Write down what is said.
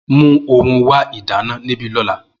Mu ohun wa ìdáná nibi ola